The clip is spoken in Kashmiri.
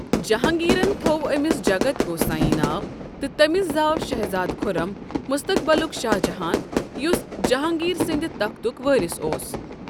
جہانگیرن تھوو أمِٚس جگت گوساییں ناو، تہٕ تٔمِس زاو شہزادٕ خُرم، مستقبلُک شاہ جہاں، یُس جہانگیرسندِ تختک وٲرِث اوس۔